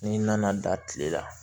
N'i nana da kile la